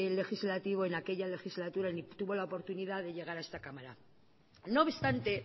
legislativo en aquella legislatura ni tuvo la oportunidad de llegar a esta cámara no obstante